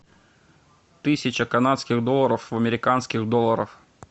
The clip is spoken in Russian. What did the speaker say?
тысяча канадских долларов в американских долларах